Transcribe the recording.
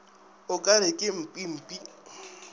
o ka re ke mpimpi